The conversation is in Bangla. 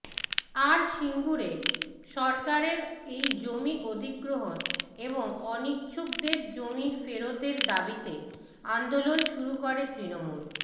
আর সিঙ্গুরে সরকারের এই জমি অধিগ্রহণ এবং অনিচ্ছুকদের জমি ফেরতের দাবিতে আন্দোলন শুরু করে তৃণমূল